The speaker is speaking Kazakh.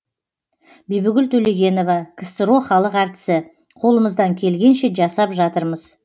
бибігүл төлегенова ксро халық әртісі қолымыздан келгенше жасап жатырмыз